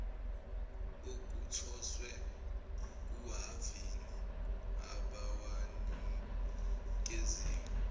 okuthoswe kuhhavini abawanikeziwe